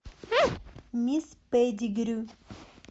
мисс петтигрю